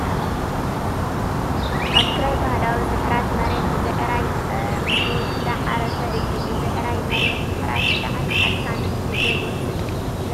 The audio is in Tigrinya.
ኣብ ትግራይ ባህላዊ ምሕራስ መሬት ብብዕራይ ፀሚዱ እንዳሓረሰ እዩ ። ብብዕራይ መሬት ምሕራስ ብጣዕሚ ኣድካምን ግዜ ዝወስድ መፅልኢ እዩ ።